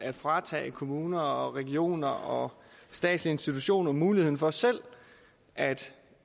at fratage kommuner regioner og statslige institutioner muligheden for selv at